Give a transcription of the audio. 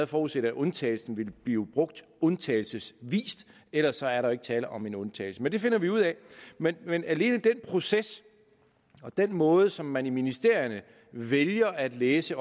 forudset at undtagelsen ville blive brugt undtagelsesvis ellers er der jo ikke tale om en undtagelse men det finder vi ud af men men alene den proces og den måde som man i ministerierne vælger at læse